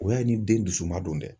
O y'a ye ni den dusu man don dɛ.